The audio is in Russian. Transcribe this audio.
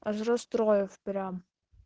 аж расстроил прям